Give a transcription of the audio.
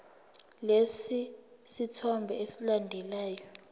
lesi sithombe esilandelayo